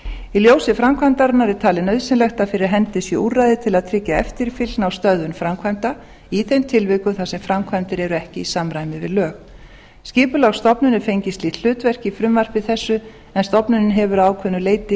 í ljósi framkvæmdarinnar er talið nauðsynlegt að fyrir hendi sé úrræði til að tryggja eftirfylgni á stöðvun framkvæmda í þeim tilvikum þar sem framkvæmdir eru ekki í samræmi við lög skipulagsstofnun er fengið slíkt hlutverk í frumvarpi þessu en stofnunin hefur að ákveðnu leyti